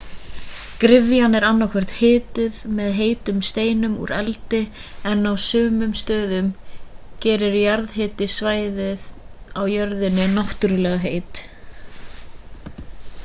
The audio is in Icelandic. gryfjan er annaðhvort hituð með heitum steinum úr eldi en á sumum stöðum gerir jarðhiti svæðin á jörðinni náttúrulega heit